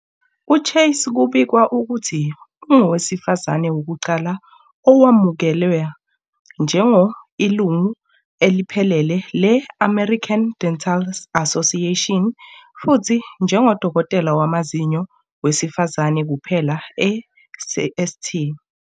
UChase kubikwa ukuthi ungowesifazane wokuqala owemukelwa njengo ilungu eliphelele le American Dental Association futhi njengodokotela wamazinyo wesifazane kuphela e St.